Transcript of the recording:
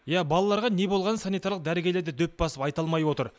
иә балаларға не болғанын санитарлық дәрігерлер де дөп басып айта алмай отыр